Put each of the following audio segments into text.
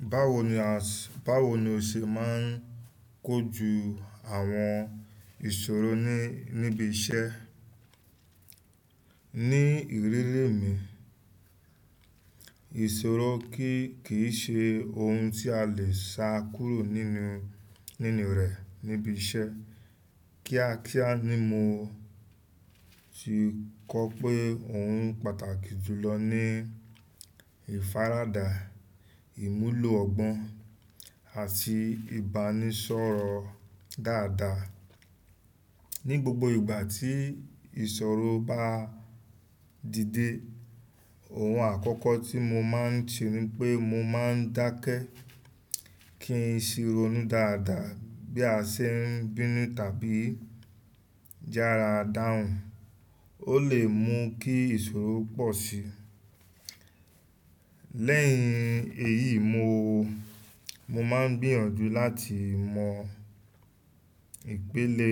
Báwo ni, báwo ni o ṣe máa ń kojú àwọn ìṣòro ní, níbi iṣẹ́? Ní ìrírí mi, ìṣòro kíì ṣe ohun tí a lè ṣàkúrò nínú, nínú rẹ̀ níbi iṣẹ́. Kíákíá ni mo ti kọ́ pé òun pàtàkì jùlọ ní ìfaradà, ìmúlò ọgbọ́n àti ìbánisọ̀rọ̀ dáadáa. Ní ìrírí mi, ìṣòro kíì ṣe ohun tí a lè ṣàkúrò nínú, nínú rẹ̀ níbi iṣẹ́. Ó lee mú kí ìṣòro pọ̀si lẹ́yìn èyí mo máa ń gbìyànjú láti mọ ipele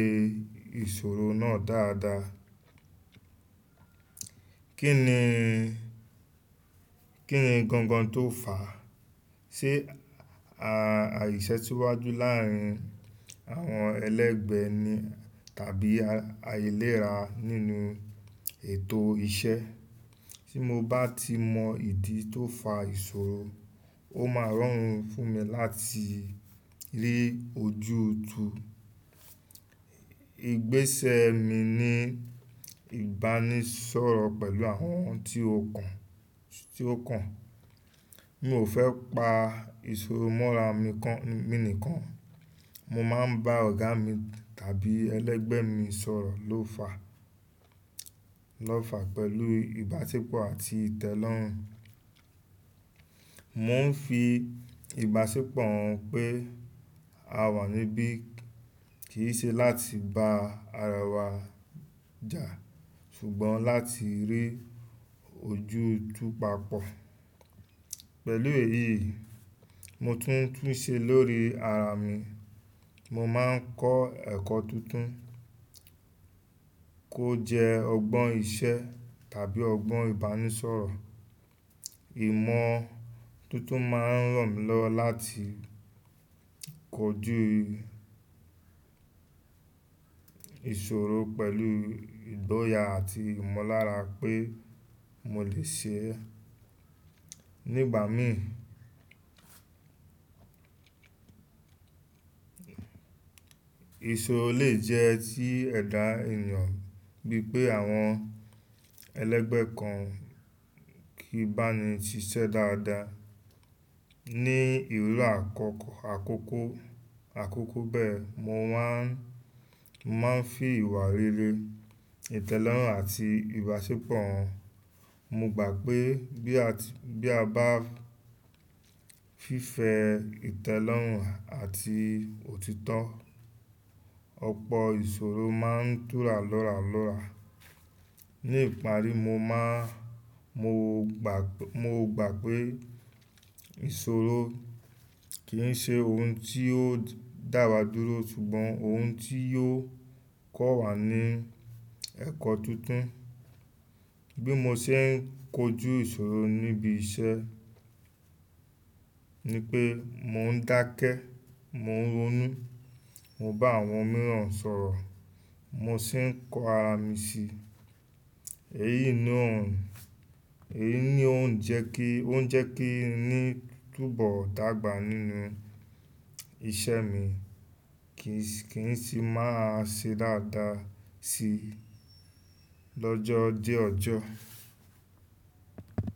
ìṣòro náà dáadáa. Kí ni, kí ni gan gan tó fà á? Ṣe àìṣẹ́ tí wá jú láàárín àwọn ẹlẹ́gbẹ́ ni tàbí a ailéra nínú ètò iṣẹ́? Tí mo bá ti mọ ìdí tó fa ìṣòro, ó máa rọrùn fún mi láti rí ojú tu. Ìgbésẹ̀ mi níí ìbánisọ̀rọ̀ pẹ̀lú àwọn ohun tó kún mi ò fẹ́ pa ìṣòro mọ́ra mi kan, mi nìkan. Mo maa n ba ọ̀gá mi tàbí ẹlẹgbẹ́ mi sọ̀rọ̀ lo fa, lo fà, pẹ̀lú ìbáṣepọ̀ àti ìtẹ́lọ́rùn mo ńfi ìbáṣepọ̀ ń pe àwa níbí kìí ṣe láti bá ara wa jà, ṣùgbọ́n láti rí ojútù papọ̀ pẹ̀lú èyí mo tún tún ṣe lórí ara mi mo máa ń kọ́ ẹ̀kọ́ tuntun, kó jẹ́ ọgbọ́n iṣẹ́ tàbí ọgbọ́n ìbánisọ̀rọ̀. Ìmọ̀ tó tún máa ràn mí lọ́wọ́ láti ko ju ìṣòro pẹ̀lú ìgboyà àti ìmọ̀ lára pé mo lè ṣe ní ìgbà mìí ìṣòro lè jẹ́ kí ẹ̀dá ènìyàn bí pé àwọn ẹlẹgbẹ́ kan kìí báni ṣiṣẹ́ dáadáa ní ìrírí àkọ́kọ́ àkókò bẹ̀rẹ̀ mo máa ń fi ìwà rere ìtẹ́lọ́rùn àti ìbáṣepọ̀ mo gbà pé tí aba ní fẹ́ ìtẹ́lọ́rùn àti òtítọ́, ọ̀pọ̀ ìṣòro máa ń túra lóralóra ní ìparí mo máa mọ̀gbà pé ìṣòro kìí ṣe ohun tó dáwa dúró ṣùgbọ́n ohun tó ń kọ́wa ẹ̀kọ́ tuntun bí mo ṣe ń kojú ìṣòro ní ibi iṣẹ́, nípé mo ń dákẹ́ mo ń ronú mo bá àwọn mìràn sọ̀rọ̀ mo sì kọ́ arami síi èyí ni òun jẹ́ kí n ní tún bó dàgbà sí nínú iṣẹ́ mìí, kín sì máa ṣe dáadáa sí lójó ọjọ́.